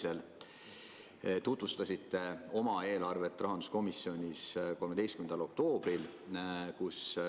Te tutvustasite oma eelarvet rahanduskomisjonis 13. oktoobril.